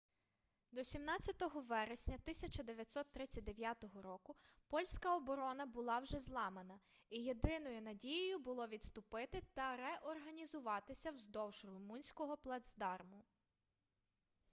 до 17 вересня 1939 року польська оборона була вже зламана і єдиною надією було відступити та реорганізуватися вздовж румунського плацдарму